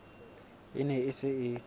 e ne e se e